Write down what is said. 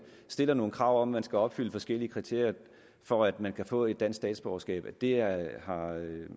stiller nogle krav om at man skal opfylde forskellige kriterier for at man kan få et dansk statsborgerskab i det er i hvert fald ud